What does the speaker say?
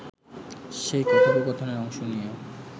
সেই কথোপকথনের অংশ নিয়ে